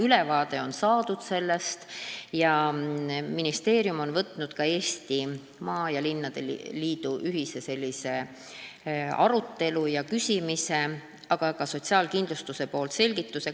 Sellest on ülevaade saadud ja ministeerium on probleemi ka Eesti maaomavalitsuste ja linnade liiduga ühise arutelu alla võtnud, andes samas sotsiaalkindlustuse koha pealt selgitusi.